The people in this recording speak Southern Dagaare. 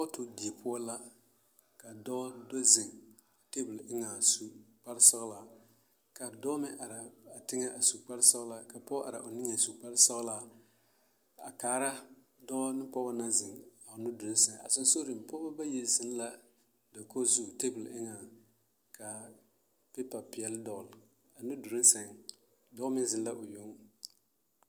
Kɔɔto die poɔ la ka dɔɔ do zeŋ teebul eŋɛ a su kparsɔɡelaa ka dɔɔ meŋ are a teŋɛ su kparsɔɡelaa ka pɔɡe are a o niŋe su kparsɔɡelaa a kaara dɔɔ ne pɔɡe naŋ zeŋ a o nudoloŋ sɛŋ a ba puoriŋ pɔɡebɔ bayi zeŋ la teebuli eŋɛŋ ka peepa peɛle dɔɔle a nudoloŋ dɔɔ meŋ zeŋ la o yoŋ.